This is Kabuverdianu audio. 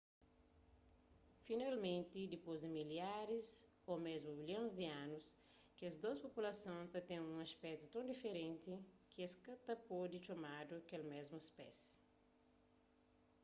finalmenti dipôs di milharis ô mésmu milhons di anus kes dôs populason ta ten un aspetu ton diferenti ki es ka ta pode txomadu kel mésmu spési